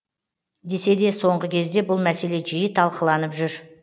десе де соңғы кезде бұл мәселе жиі талқыланып жүр